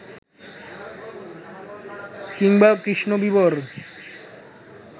কিংবা কৃষ্ণবিবর